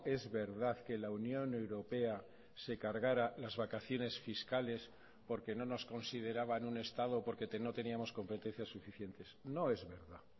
es verdad que la unión europea se cargara las vacaciones fiscales porque no nos consideraban un estado porque no teníamos competencias suficientes no es verdad